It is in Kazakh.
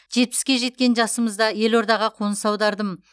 жетпіске жеткен жасымызда елордаға қоныс аудардым